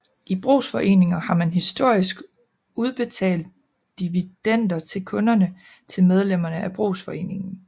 I brugsforeninger har man historisk udbetalt dividender til kunderne til medlemmerne af brugsforeningen